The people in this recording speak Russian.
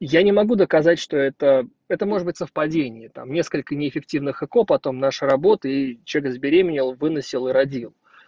я не могу доказать что это это может быть совпадением там несколько не эффективных эко потом наши работы и человек забеременел выносил и родил